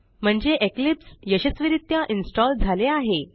म्हणजे इक्लिप्स यशस्वीरित्या इन्स्टॉल झाले आहे